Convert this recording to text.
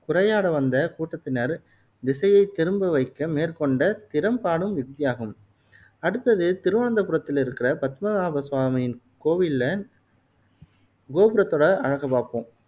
சுறையாட வந்த கூட்டத்தினர் திசையை திரும்ப வைக்க மேற்கொண்ட திறம் பாடும் யுக்தியாகும் அடுத்தது திருவனந்தபுரத்தில் இருக்குற் பத்மநாப சுவாமியின் கோவிலில கோபுரத்தோட அழகை பாப்போம்